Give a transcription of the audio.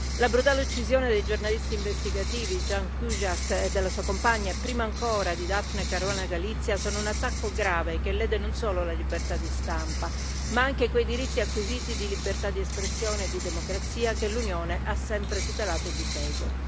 La brutale uccisione dei giornalisti investigativi Ján Kuciak e della sua compagna, e prima ancora di Daphne Caruana Galizia, è un attacco grave che lede non solo la libertà di stampa ma anche quei diritti acquisiti di libertà di espressione e di democrazia che l'Unione ha sempre tutelato e difeso.